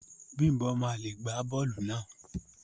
Bimbo ma le gba bóòlù náà.